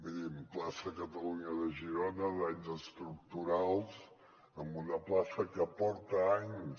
mirin plaça catalunya de girona danys estructurals en una plaça que porta anys